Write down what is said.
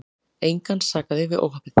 Engan sakaði við óhappið.